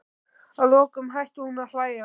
Að lokum hætti hún að hlæja.